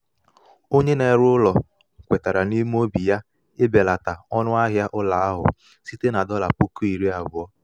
onye na-ere ụlọ kwetara n’ime obi ya ibelata ọnụahịa ụlọ ahụ site na dolla puku iri abuo